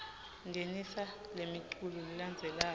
ngenisa lemiculu lelandzelako